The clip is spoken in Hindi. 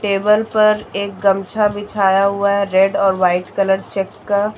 टेबल पर एक गमछा बिछाया हुआ है रेड और वाइट कलर चेक का।